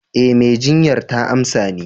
Eh, mai jinyar ta amsa ni.